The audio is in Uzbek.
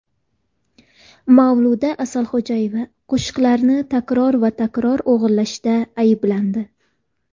Mavluda Asalxo‘jayeva qo‘shiqlarni takror va takror o‘g‘irlashda ayblandi.